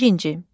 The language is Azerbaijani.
Birinci.